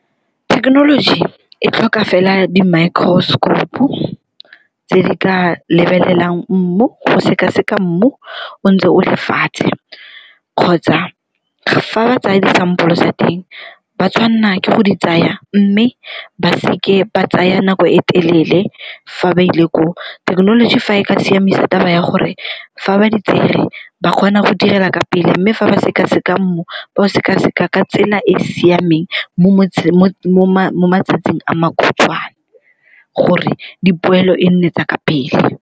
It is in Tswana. Thekenoloji e tlhoka fela di-microscope-u tse di ka lebelelang mmu go sekaseka mmu o ntse o le fatshe, kgotsa fa ba tsaya disampole tsa teng ba tshwanela ke go di tsaya mme ba seke ba tsaya nako e telele fa ba ile koo. Thekenoloji fa e ka siamisa taba ya gore fa ba di tsere ba kgona go direla ka pele mme fa ba sekaseka mmu ba o sekaseka ka tsela e e siameng mo matsatsing a makhutshwane gore dipoelo e nne tsa ka pele.